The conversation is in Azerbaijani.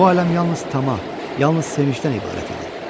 Bu aləm yalnız tama, yalnız sevincdən ibarət idi.